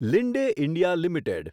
Linde India limited